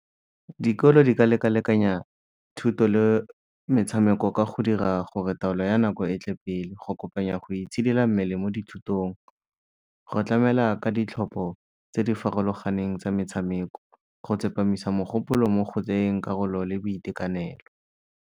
Dikolo di ka lekalekanya thuto le metshameko ka go dira gore taolo ya nako e tle pele, go kopanya go itshidila mmele mo dithutong, go tlamela ka ditlhopho tse di farologaneng tsa metshameko, go tsepamisa megopolo mo go tseyeng karolo le boitekanelo.